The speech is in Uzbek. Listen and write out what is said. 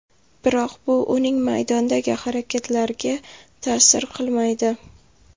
Biroq bu uning maydondagi harakatlariga ta’sir qilmaydi.